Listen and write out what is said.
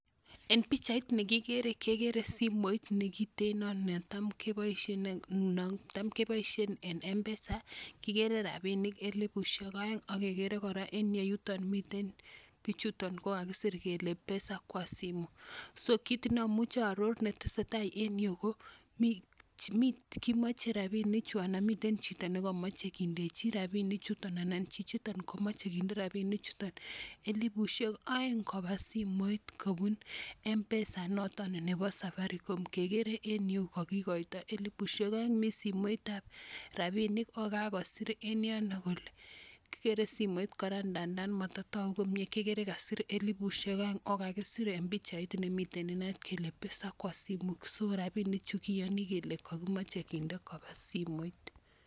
En pichait nekikere kekeere simoit nekiteno netam keboishien en mpesa, kikere rapinik elifusiek oeng, ak kekere kora en iyeuton mitten bichuton KO Ka kakisir kele pesa kwa simu so kit niamuche aoror netesei tai en yuh KO kimoche rabinikyuk anan miten chito nekomoche kindechi rapinik chuton elipusiek peng koba simoit ,kobun mpesa noton Nebo safarikom kekere en yuh kokikoito elipusiek oeng, mi simoit ab rabinik ok kakosir en yono kole. Ndanan mototoku komie kekere kasir elipusiek oeng, KO rabinichu kiyoni kele kokimoche koba simoit.